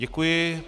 Děkuji.